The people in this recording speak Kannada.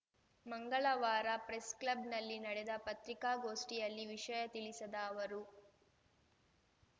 ಮಂಗಳವಾರ ಪ್ರೆಸ್‍ಕ್ಲಬ್‍ನಲ್ಲಿ ನಡೆದ ಪತ್ರಿಕಾಗೋಷ್ಠಿಯಲ್ಲಿ ವಿಷಯ ತಿಳಿಸಿದ ಅವರು